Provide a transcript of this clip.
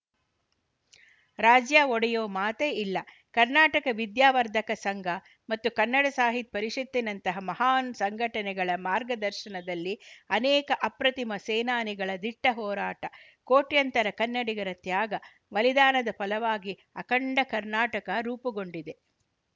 ರಾಜ್ಯ ಒಡೆಯುವ ಮಾತೇ ಇಲ್ಲ ಕರ್ನಾಟಕ ವಿದ್ಯಾವರ್ಧಕ ಸಂಘ ಮತ್ತು ಕನ್ನಡ ಸಾಹಿತ್ಯ ಪರಿಷತ್ತಿನಂತಹ ಮಹಾನ್‌ ಸಂಘಟನೆಗಳ ಮಾರ್ಗದರ್ಶನದಲ್ಲಿ ಅನೇಕ ಅಪ್ರತಿಮ ಸೇನಾನಿಗಳ ದಿಟ್ಟಹೊರಾಟ ಕೋಟ್ಯಂತರ ಕನ್ನಡಿಗರ ತ್ಯಾಗ ಬಲಿದಾನದ ಫಲವಾಗಿ ಅಖಂಡ ಕರ್ನಾಟಕ ರೂಪುಗೊಂಡಿದೆ